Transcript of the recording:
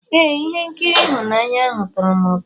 Ee, ihe nkiri ịhụnanya ahụ tọrọ m ụtọ.